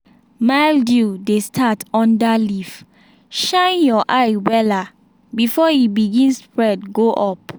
mildew dey start under leaf shine your eye wella before e begin spread go up.